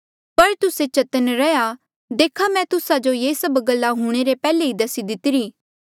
पर तुस्से चतन्न रैहया देखा मैं तुस्सा जो ये सभ गल्ला हूंणे रे पैहले ई दसी दीतिरी